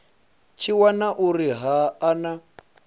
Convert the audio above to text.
tshi wana uri ha na